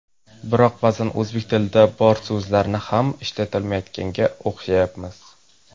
Biroq ba’zan o‘zbek tilida bor so‘zlarni ham ishlatmayotganga o‘xshayapmiz.